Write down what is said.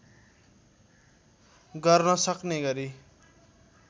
गर्न सक्ने गरी